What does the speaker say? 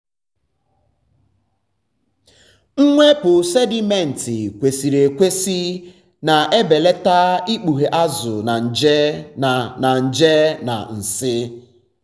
mwepụ sedimenti kwesịrị ekwesị na-ebelata ikpughe azụ na nje na na nje na nsị.